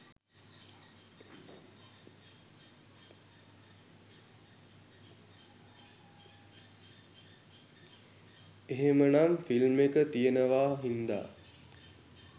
එහෙමනම් ‍ෆිල්ම් එක තියෙනවා හින්දා